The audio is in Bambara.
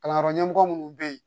Kalanyɔrɔ ɲɛmɔgɔ minnu bɛ yen